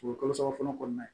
O kalo saba fɔlɔ kɔnɔna na